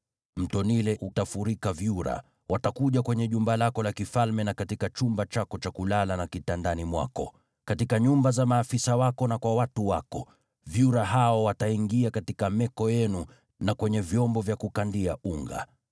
Mto Naili utafurika vyura. Watakuja kwenye jumba lako la kifalme na katika chumba chako cha kulala na kitandani mwako, katika nyumba za maafisa wako na kwa watu wako, vyura hao wataingia katika meko yenu na kwenye vyombo vya kukandia unga.